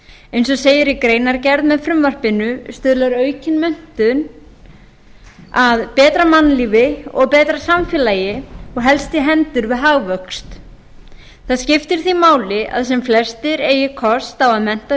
eins og segir í greinargerð með frumvarpinu stuðlar aukin menntun að betra mannlífi og betra samfélagi og helst í hendur við hagvöxt það skiptir því máli að sem flestir eigi kost á að mennta